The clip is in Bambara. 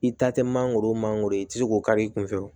I ta tɛ mangoro mangoro ye i tɛ se k'o kari i kun fɛ